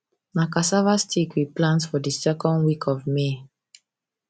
na cassava stick we plant for di second week of may